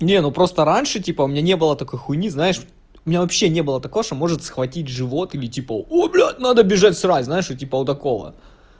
не ну просто раньше типа у меня не было такой хуйни знаешь у меня вообще не было такого что может схватить живот или типа о блядь надо бежать срать знаешь вот типа вот такого